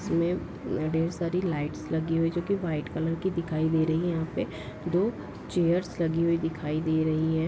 इसमें मम ढेर सारी लाइट्स लगी हुई जो की व्हाइट कलर की दिखाई दे रही है यहाँ पे दो चेयर्स लगी हुई दिखाई दे रही हैं।